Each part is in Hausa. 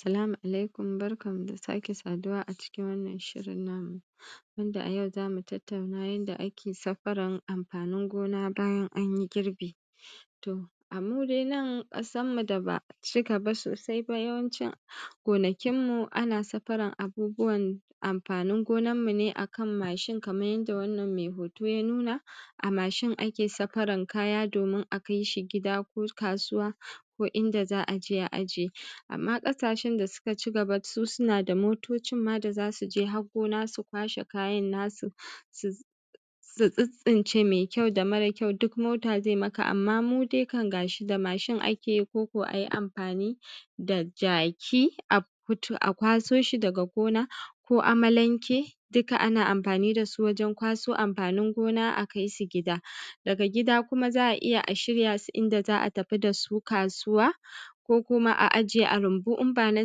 Salamu alaikum barkanmu da sake saduwa a cikin wannan shiriin namu, wanda a yau za mu tattauna yanda ake safaran amfanin goonaa baajan an ji girbii. To, a mu dai nan ƙasarmu da ba a ci gaba sosai ba, yawancin gonakinmu ana safaran abubuwan amfanin gonanmu ne a kan mashin kamar yadda wannan mai hoto ya nuna, a mashin ake safaran kaya domin a kai shi gida ko kasuwa, ko inda za a je a ajiye. Amma ƙasashen da suka ci gaba su suna da motocin ma da za su je har gona su kwashe kayan nasu, su tsintsince mai kyau da mara kyau duk mota zai maka, amma mu dai kam ga shi da mashin ake yi ko ko a yi amfani da jaki a fito, a kwaso shi daga gona, ko amalanke, duka ana amfani da su wajen kwaso amfanin gona a kai su gida. Daga gida kuma za a iya a shirya su inda za a tafi da su kasuwa, ko kuma a ajiye a rumbu in ba na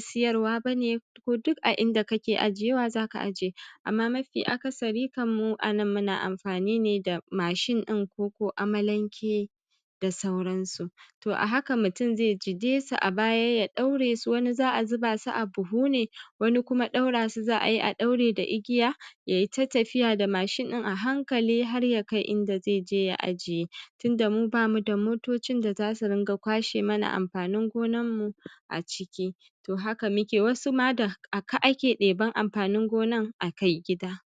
siyarwa ba ne, ko duk a inda kake ajiyewa za ka ajiye. Amma mafi akasari kam mu a nan munaa amfaanii ne da mashlin ɗin ko ko amalanke, da sauransu. To, a haka mutum zai jide su a baya ya ɗaure su wani za a zuba su a buhu ne, wani kuma ɗaura su za a yi, a ɗaure da igiya, ya yi ta tafiya da mashin ɗin a hankali har ya kai inda zai jee ya ajiye. Tunda mu ba mu da motocin da za su riƙa kwashe mana amfanin gonanmu a ciki. To, haka muke, wasu ma da, a ka ake ɗiban amfanin gonan a kai gida.